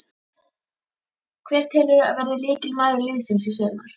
Hver telurðu að verði lykilmaður liðsins í sumar?